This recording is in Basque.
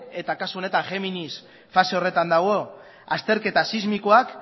eta kasu honetan géminis fase horretan dago azterketa sismikoak